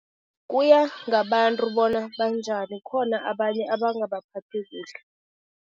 Kuya ngabantu bona banjani, kukhona abanye abangabaphathi kuhle.